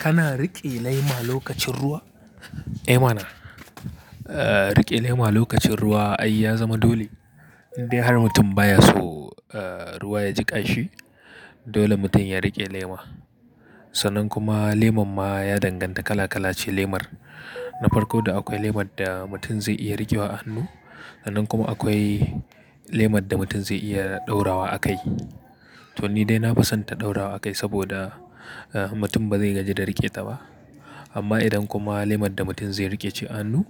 Kana riƙe laima lokacin ruwa? Eh mana. Riƙe laima lokacin ruwa ai ya zama dole. Indai har mutum ba ya so ruwa ya jiƙa shi, dole mutum ya riƙe lema. Sannan kuma leman ma ya danganta kala kalace lemar. Na farko da akwai lemar da mutum zai iya riƙewa a hannu, sannan kuma akwai lemar da mutum zai iya ɗaura wa a kai. To ni dai na fi son ta ɗaurawa a kai saboda mutum ba zai gaji da riƙe ta ba. Amma idan kuma lemon da mutum zai riƙe ce a hannu,